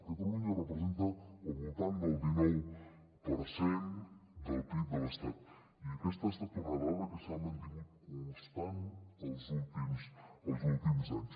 catalunya representa al voltant del dinou per cent del pib de l’estat i aquesta ha estat una dada que s’ha mantingut constant els últims anys